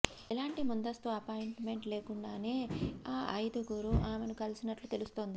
ఎలాంటి ముందస్తు అపాయింట్మెంట్ లేకుండానే ఆ ఐదుగురు ఆమెను కలిసినట్లు తెలుస్తోంది